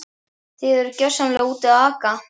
Þið eruð gjörsamlega úti að aka.